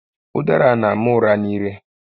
Ụdara a n'ama ụra n'ire